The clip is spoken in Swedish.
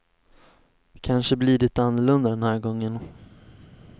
Kanske blir det annorlunda den här gången.